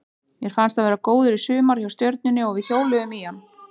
Mér fannst hann vera góður í sumar hjá Stjörnunni og við hjóluðum í hann.